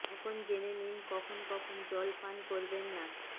এখন জেনে নিন কখন কখন জল পান করবেন না